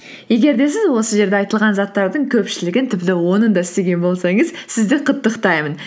егер де сіз осы жерде айтылған заттардың көпшілігін тіпті онын да істеген болсаңыз сізді құттықтаймын